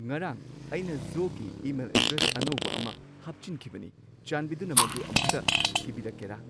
ꯉꯔꯥꯡ ꯑꯩꯅ ꯖꯣꯒꯤ ꯏꯃꯦꯜ ꯑꯦꯗ꯭ꯔꯦꯁ ꯑꯅꯧꯕ ꯑꯃ ꯍꯥꯞꯆꯤꯟꯈꯤꯕꯅꯤ ꯆꯥꯟꯕꯤꯗꯨꯅ ꯃꯗꯨ ꯑꯃꯨꯛꯇ ꯊꯤꯕꯤꯔꯛꯀꯦꯔꯥ